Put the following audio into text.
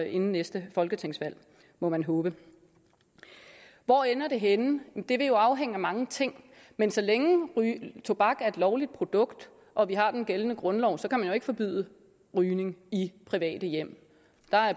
inden næste folketingsvalg det må man håbe hvor ender det henne det vil jo afhænge af mange ting men så længe tobak er et lovligt produkt og vi har den gældende grundlov kan man jo ikke forbyde rygning i private hjem